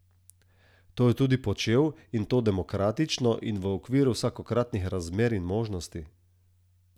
To je tudi počel, in to demokratično in v okviru vsakokratnih razmer in možnosti!